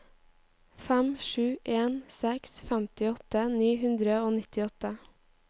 fem sju en seks femtiåtte ni hundre og nittiåtte